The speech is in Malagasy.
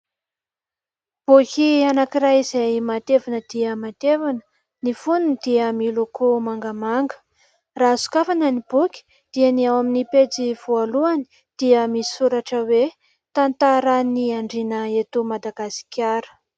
Boky anankiray izay matevina dia matevina. Ny fonony dia miloko mangamanga. Raha sokafana ny boky dia ny ao amin'ny pejy voalohany dia misy soratra hoe : "Tantaran'ny Andriana eto Madagasikara".